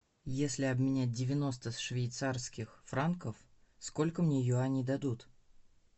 если обменять девяносто швейцарских франков сколько мне юаней дадут